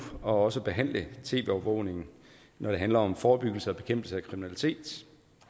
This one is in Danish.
også behandle tv overvågning når det handler om forebyggelse og bekæmpelse af kriminalitet